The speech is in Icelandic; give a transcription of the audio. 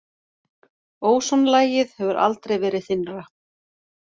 Ósonlagið hefur aldrei verið þynnra